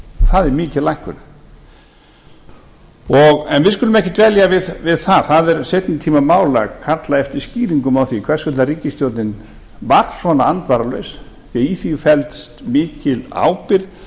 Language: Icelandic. það er mikil lækkun en við skulum ekki dvelja við það það er seinni tíma mál að kalla eftir skýringum á því hvers vegna ríkisstjórnin var svona andvaralaus því í því felst mikil ábyrgð